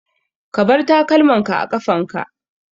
Ka bar takalmin ka a ƙafan ka!